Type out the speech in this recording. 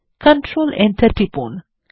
control enter টিপুন